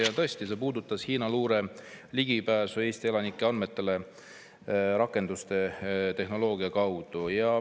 Ja tõesti, see puudutas Hiina luure ligipääsu Eesti elanike andmetele rakenduste ja tehnoloogia kaudu.